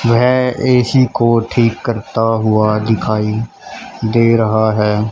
वेह ऐ_सी को ठीक करता हुआ दिखाई दे रहा है।